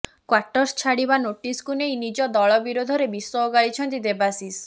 quarters ଛାଡିବା ନୋଟିସକୁ ନେଇ ନିଜ ଦଳ ବିରୋଧରେ ବିଷ ଓଗାଳିଛନ୍ତି ଦେବାଶିଷ